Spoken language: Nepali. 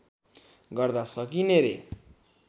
गर्दा सकिने रे